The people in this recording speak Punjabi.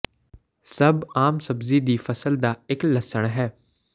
ਸਭ ਆਮ ਸਬਜ਼ੀ ਦੀ ਫਸਲ ਦਾ ਇੱਕ ਲਸਣ ਹੈ